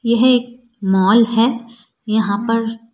यह एक मॉल है यहां पर--